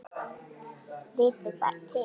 Vitiði bara til!